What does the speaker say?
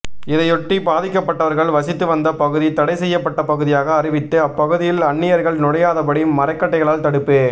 இதையொட்டி பாதிக்கப்பட்டவர்கள் வசித்து வந்த பகுதி தடை செய்யப்பட்ட பகுதியாக அறிவித்து அப்பகுதியில் அன்னியர்கள் நுழையாதபடி மரக்கட்டைகளால் தடுப்பு